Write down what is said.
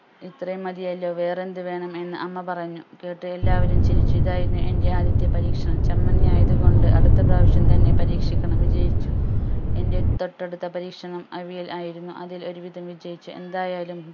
ഇത്രയും മതിയല്ലോ വേറെ എന്ത് വേണം എന്ന് അമ്മ പറഞ്ഞു കേട്ട് എല്ലാവരും ചിരിച്ചു ഇതായിരുന്നു എന്റെ ആദ്യത്തെ പരീക്ഷണം ചമ്മന്തി ആയതു കൊണ്ട് അടുത്ത പ്രാവശ്യം തന്നെ പരീക്ഷിക്കണം വിജയിച്ചു എന്റെ തൊട്ടടുത്ത പരീക്ഷണം അവിയൽ ആയിരുന്നു അതിൽ ഒരു വിധം വിജയിച്ചു എന്തായാലും